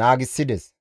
naagissides.